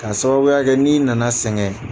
Ka sababuya kɛ n'i na na sɛgɛn.